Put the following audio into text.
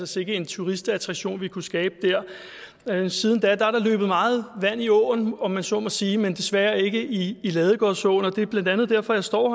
sikke en turistattraktion vi kunne skabe der siden da er der løbet meget vand i åen om man så må sige men desværre ikke i ladegårdsåen det er blandt andet derfor jeg står